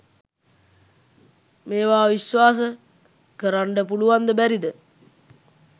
මේවා විස්වාස කරන්ඩ පුලුවන්ද බැරිද?